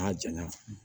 N'a janya na